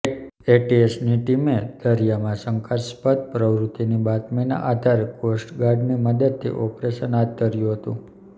એટીએસની ટીમે દરિયામાં શંકાસ્પદ પ્રવૃત્તિની બાતમીના આધારે કોસ્ટગાર્ડની મદદથી ઓપરેશન હાથ ધર્યું હતું